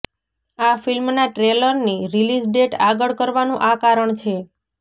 આ ફિલ્મના ટ્રેલરની રિલીઝ ડેટ આગળ કરવાનું આ કારણ છે